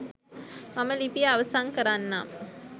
මම ලිපිය අවසන් කරන්නම්